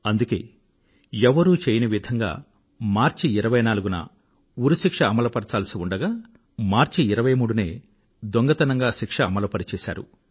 అందుకే ఎవ్వరూ చెయ్యని విధంగా మార్చి నెల 24వ తేదీన ఉరి శిక్షను అమలుపరచాల్సి ఉండగా మార్చి నెల 23వ తేదీ నాడే శిక్ష అమలుపరచారు